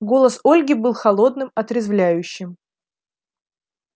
голос ольги был холодным отрезвляющим